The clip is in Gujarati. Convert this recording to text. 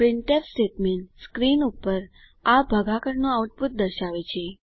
પ્રિન્ટફ સ્ટેટમેન્ટ સ્ક્રીન પર આ ભાગાકારનું આઉટપુટ દર્શાવે છે